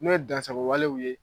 Min ye dansagowalew ye